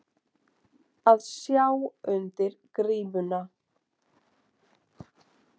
Að sjá undir grímuna